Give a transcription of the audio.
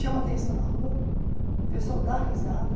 Chama atenção na rua, o pessoal dá risada.